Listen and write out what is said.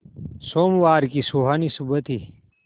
सोमवार की सुहानी सुबह थी